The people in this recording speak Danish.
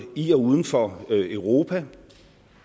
i og uden for europa